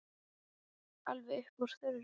Alveg upp úr þurru?